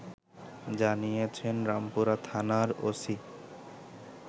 জানিয়েছেন রামপুরা থানার ওসি